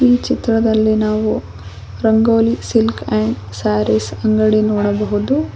ಈ ಚಿತ್ರದಲ್ಲಿ ನಾವು ರಂಗೋಲಿ ಸಿಲ್ಕ್ ಅಂಡ್ ಸರೀಸ್ ಅಂಗಡಿ ನೋಡಬಹುದು.